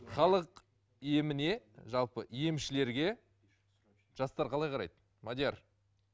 халық еміне жалпы емішлерге жастар қалай қарайды мадияр